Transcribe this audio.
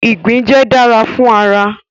igbin jẹ dara fun ara